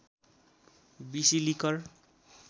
बिसि लिकर